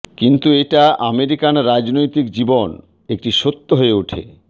কিন্তু এটা আমেরিকান রাজনৈতিক জীবন একটি সত্য হয়ে ওঠে